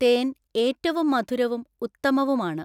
തേൻ ഏറ്റവും മധുരവും ഉത്തമവുമാണ്.